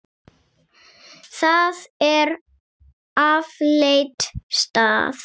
Það er afleit staða.